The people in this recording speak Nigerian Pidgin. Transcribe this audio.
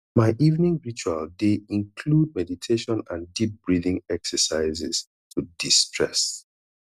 my evening ritual dey include meditation and deep breathing exercises to destress